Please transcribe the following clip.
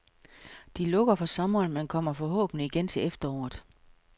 De lukker for sommeren, men kommer forhåbentlig igen til efteråret.